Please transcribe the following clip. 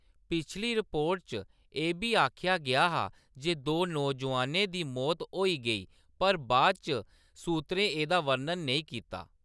पिछली रिपोर्ट च एह्‌‌ बी आखेआ गेआ हा जे दो नौजोआनें दी मौत होई गेई पर बाद इच सूत्रें एह्‌‌‌दा बर्णन नेईं कीता।